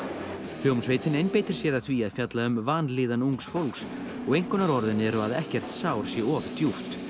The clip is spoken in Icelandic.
hljómsveitin einbeitir sér að því að fjalla um vanlíðan ungs fólks og einkunnarorðin eru að ekkert sár sé of djúpt